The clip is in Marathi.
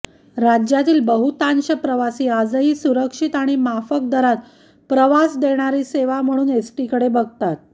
राज्यातील बहुतांश प्रवासी आजही सुरक्षित आणि माफक दरात प्रवास देणारी सेवा म्हणून एसटीकडे बघतात